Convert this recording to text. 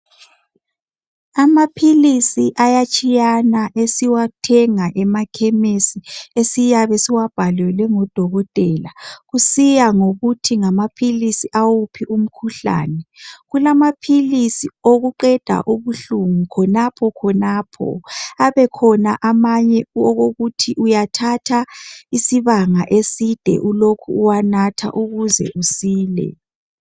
Amaphilisi ayatshiyana esiwathenga emakhemisi esiyabe siwabhalelwe ngodokotela, kusiya ngokuthi ngamaphilisi awuphi umkhuhlane kulama philisi okuqeda ubuhlungu khonapha khonapha kubelamanye athatha isibanga eside ulokhe uwanatha ukuze usile.